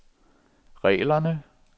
reglerne